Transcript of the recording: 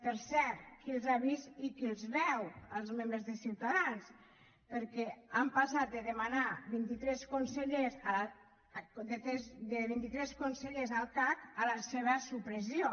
per cert qui els ha vist i qui els veu els membres de ciutadans perquè han passat de demanar vint i tres consellers al cac a la seva supressió